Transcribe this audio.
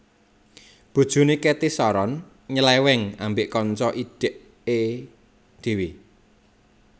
Bojone Cathy Sharon nyeleweng ambek kanca idhek e dhewe